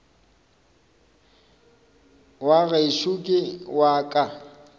wa gešo ke wa ka